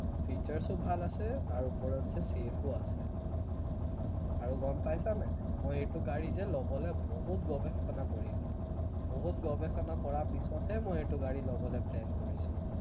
features ও ভাল আছে তাৰ ওপৰতছে safe ও আছে, আৰু গম পাইছা নে নাই মই এইটো গাড়ী যে লবলে বহুত গৱেষণা কৰিলো, বহুত গৱেষণা কৰা পিছতহে মই এইটো গাড়ী লবলে plan কৰিছো